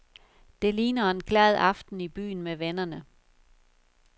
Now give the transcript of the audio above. Det ligner en glad aften i byen med vennerne.